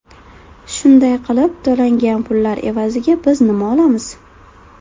Shunday qilib, to‘langan pullar evaziga biz nima olamiz?